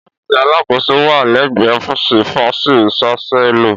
Ọfísì àlasoko wà lẹgbẹ ọfísì fàísì ṣàsẹlọ.